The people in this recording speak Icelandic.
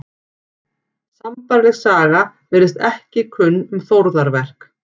Sambærileg saga virðist ekki kunn um þórðarverk.